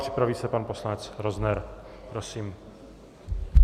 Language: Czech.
Připraví se pan poslanec Rozner. Prosím.